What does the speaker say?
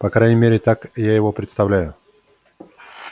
по крайней мере так я его представляю